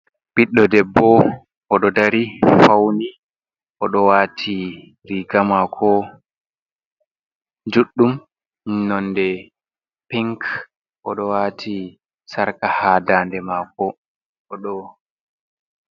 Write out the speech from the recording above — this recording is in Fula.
Ɓiddo debbo oɗo dari fawni. oɗo wati riga mako juɗɗum nonde pink. oɗo wati sarka ha dande maako oɗo.